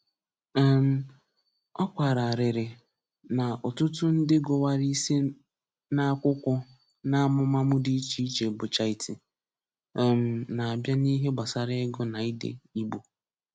um Ọ kwàrárìrị na ọ̀tụ̀tụ̀ ndị gụ̀wàrà isi n’akwùkwó n’ámùmàmụ̀ dị iche iche bụ̀chá ítí, um nā-abịa n’íhè gbasàrà ị̀gụ na ídé Ìgbò.